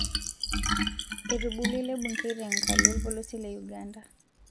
Etubulua ele bungei tenkalo olpolosie le Uganda